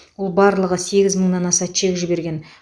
ол барлығы сегіз мыңнан аса чек жіберген